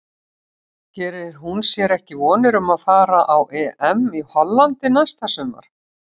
Gerir hún sér ekki vonir um að fara á EM í Hollandi næsta sumar?